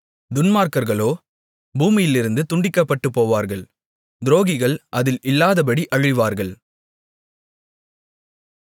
துன்மார்க்கர்களோ பூமியிலிருந்து துண்டிக்கப்பட்டுபோவார்கள் துரோகிகள் அதில் இல்லாதபடி அழிவார்கள்